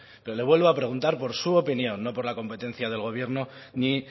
pero le vuelvo a preguntar por su opinión no por la competencia del gobierno ni